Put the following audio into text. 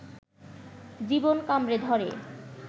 জীবন কামড়ে ধরে